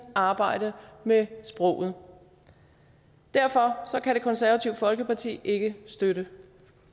arbejde med sproget derfor kan det konservative folkeparti ikke støtte